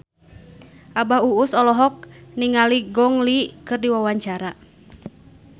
Abah Us Us olohok ningali Gong Li keur diwawancara